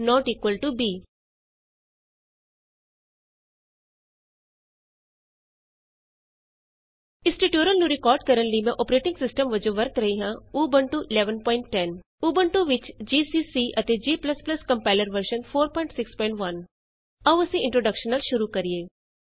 a160 b ਇਸ tutorial ਨੂੰ record ਕਰਨ ਲਈ ਮੈਂ ਅੋਪਰੇਟਿੰਗ ਸਿਸਟਮ ਵਜੋਂ ਵਰਤ ਰਹੀ ਹਾਂ ਊਬੰਤੂ 1110 ਉਬੁੰਟੂ 1110 ਊਬੰਤੂ ਵਿਚ ਜੀਸੀਸੀ ਅਤੇ g compiler version 461 GCC and G compiler version 461 in Ubuntu ਆਉ ਅਸੀਂ ਇੰਟਰੋਡੇਕਸ਼ਨ ਨਾਲ ਸ਼ੁਰੂ ਕਰੀਏ